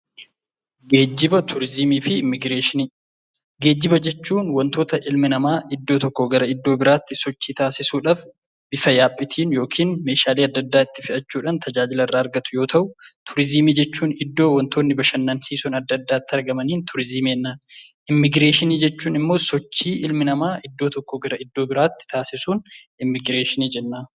Geejjiba jechuun wantoota ilmi namaa iddoo tokkoo gara iddoo biraatti sochii taasisuudhaaf bifa yaabbiitiin yookiin meeshaalee adda addaa itti fe'achuudhaan tajaajila irraa argatu yoo ta'u, Turizimii jechuun iddoo wantoonni bashannansiisoo adda addaa itti argamaniin turizimii jenna. Immigireeshinii jechuun sochii ilmi namaa biyya tokkoo gara biyya biraatti taassisuun immigireeshinii jenna.